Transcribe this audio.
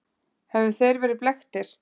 Höfðu þeir verið blekktir?